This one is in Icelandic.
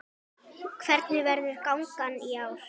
Hvernig verður gangan í ár?